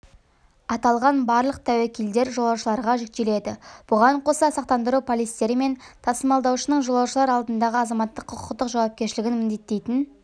аталған барлық тәуекелдер жолаушыларға жүктеледі бұған қоса сақтандыру полистері мен тасымалдаушының жолаушылар алдындағы азаматтық-құқықтық жауапкершілігін міндеттейтін